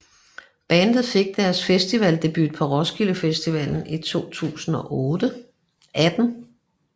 Bandet fik deres festivaldebut på Roskilde Festival 2018